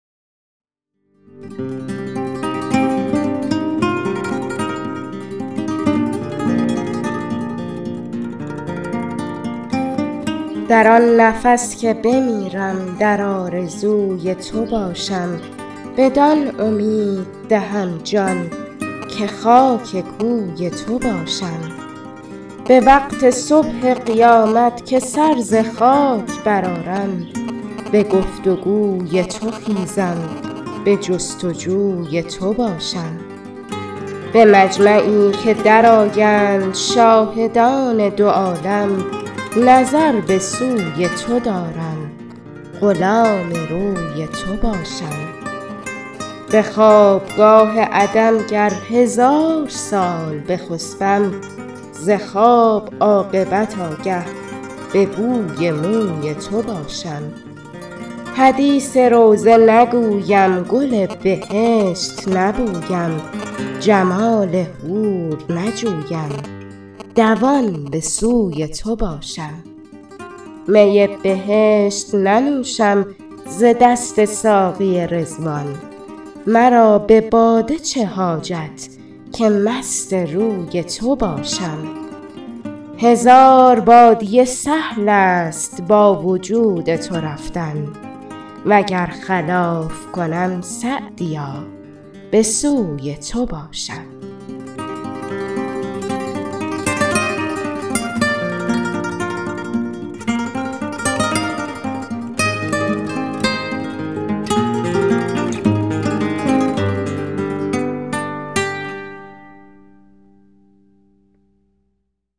در آن نفس که بمیرم در آرزوی تو باشم بدان امید دهم جان که خاک کوی تو باشم به وقت صبح قیامت که سر ز خاک برآرم به گفت و گوی تو خیزم به جست و جوی تو باشم به مجمعی که درآیند شاهدان دو عالم نظر به سوی تو دارم غلام روی تو باشم به خوابگاه عدم گر هزار سال بخسبم ز خواب عاقبت آگه به بوی موی تو باشم حدیث روضه نگویم گل بهشت نبویم جمال حور نجویم دوان به سوی تو باشم می بهشت ننوشم ز دست ساقی رضوان مرا به باده چه حاجت که مست روی تو باشم هزار بادیه سهل است با وجود تو رفتن و گر خلاف کنم سعدیا به سوی تو باشم